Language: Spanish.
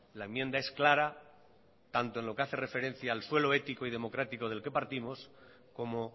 la enmienda es clara tanto en lo que hace referencia al suelo ético y democrático del que partimos como